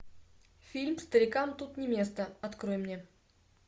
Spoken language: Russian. фильм старикам тут не место открой мне